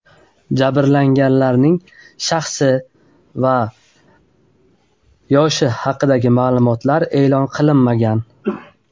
Jabrlanganlarning shaxsi va yoshi haqidagi ma’lumotlar oshkor etilmagan.